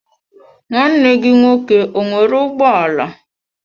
nwanne gi nwoke ọ nwere ụgbọ ala?